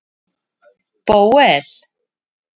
Bóel